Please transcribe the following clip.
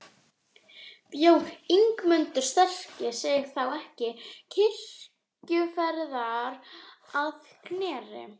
Bjó Ingimundur sterki sig þá til kirkjuferðar að Knerri.